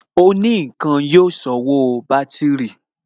Òní ǹkan ni yóò sanwó bátìrì